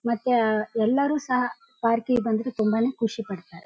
ಮತ್ತೆ ಆ ಎಲ್ಲರು ಸಹ ಪಾರ್ಕ್ ಕ್ಕಿಗೆ ಬಂದ್ರೆ ತುಂಬಾ ನೇ ಖುಷಿ ಪಾಡ್ತಾರೆ .